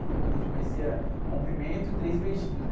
Então quando a gente conhecia era cumprimento e três beijinhos, né?